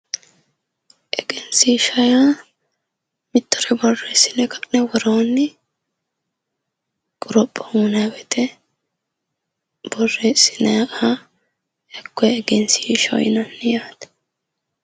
Egenshishsha yaa mittore borreessine ka'ne worooni qoropho uyinnanni woyte borreesinayiha hakkoe egenshishshaho yinnanni yaate.